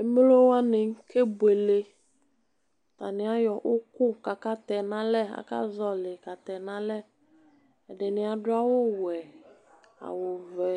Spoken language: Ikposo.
Emlo wani kebuele atani ayɔ uku kʋ akatɛ nʋ alɛ aka zɔli katɛ nʋ alɛ ɛdini adʋ awʋwɛ awʋvɛ